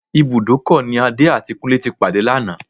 Ibùdókọ̀ ni Adé àti Kúnlé ti pàdé lánàá